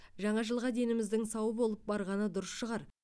жаңа жылға деніміздің сау болып барғаны дұрыс шығар